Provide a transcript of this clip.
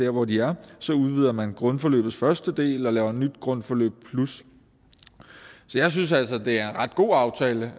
hvor de er så udvider man grundforløbets første del og laver et nyt grundforløb plus så jeg synes altså at det er en ret god aftale